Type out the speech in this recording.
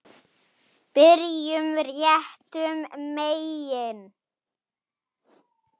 Byrjum réttum megin.